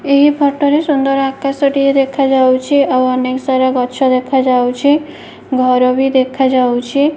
ଏହି ଫଟ ରେ ସୁନ୍ଦର ଆକାଶ ଟିଏ ଦେଖା ଯାଉଚି। ଆଉ ଅନେକସାରା ଗଛ ଦେଖା ଯାଉଚି। ଘର ବି ଦେଖା ଯାଉଚି।